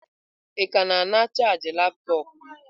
Ị ka na-ana chaajị laptọọpụ m?